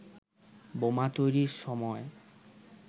বোমা তৈরির সময়